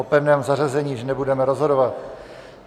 O pevném zařazení již nebudeme rozhodovat.